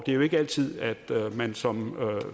jo ikke altid at man som